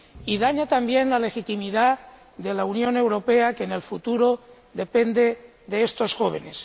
Y daña también la legitimidad de la Unión Europea, que, en el futuro, depende de estos jóvenes.